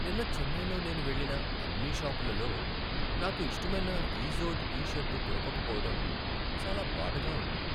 నిన్న చెన్నైలో నేను వెళ్లిన అన్ని షాపులలో నాకు ఇష్టమైన ఇజోడ్ టీ షర్టు దొరకకపోవటం చాలా బాధగా ఉంది.